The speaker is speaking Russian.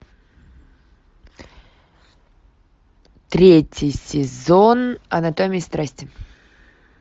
третий сезон анатомии страсти